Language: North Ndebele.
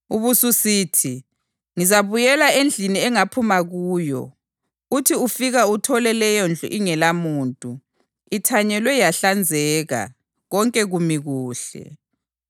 Ubususithi, ‘Ngizabuyela endlini engaphuma kuyo.’ Uthi ufika uthole leyondlu ingelamuntu, ithanyelwe yahlanzeka, konke kumi kuhle.